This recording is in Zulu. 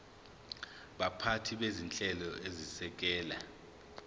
baphathi bezinhlelo ezisekela